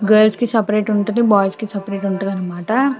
Girls కి separate ఉంటది boys కి సెపరేట్ ఉంటది అన్నమాట.